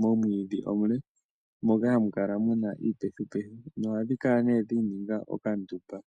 momwiidhi omule moka hamu kala muna iipethupethu nohadhi kala dhiininga okandumba.